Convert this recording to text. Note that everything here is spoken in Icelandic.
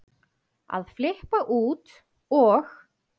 að flippa út og